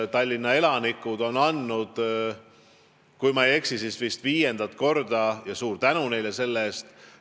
Tallinna elanikud on andnud viiendat korda, kui ma ei eksi – ja suur tänu neile selle eest!